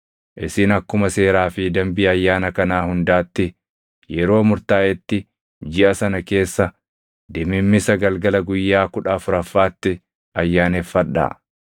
Isin akkuma seeraa fi dambii ayyaana kanaa hundaatti yeroo murtaaʼetti jiʼa sana keessa, dimimmisa galgala guyyaa kudha afuraffaatti ayyaaneffadhaa.”